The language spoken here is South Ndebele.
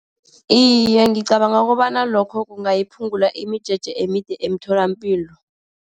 Iye, ngicabanga ukobana lokho kungayiphungula imijeje emide emtholapilo.